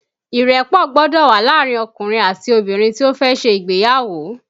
Ìrẹ́pọ̀ gbọ́dọ̀ wà láàrin ọkùnrin àti obìnrin tí ó fẹ́ ṣe ìgbéyàwó